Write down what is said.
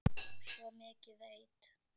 Svo mikið veit